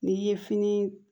N'i ye fini